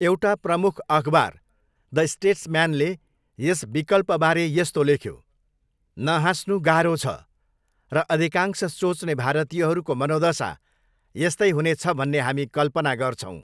एउटा प्रमुख अखबार द स्टेट्सम्यानले यस विकल्पबारे यस्तो लेख्यो, 'नहाँस्नु गाह्रो छ र अधिकांश सोच्ने भारतीयहरूको मनोदशा यस्तै हुनेछ भन्ने हामी कल्पना गर्छौँ'।